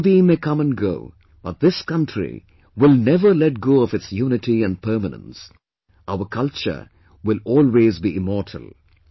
Modi may come and go, but this country will never let go of its UNITY & permanence, our culture will always be immortal